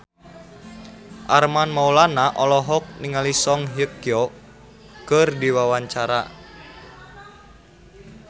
Armand Maulana olohok ningali Song Hye Kyo keur diwawancara